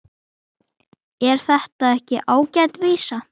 Er þetta ekki ágæt vísa?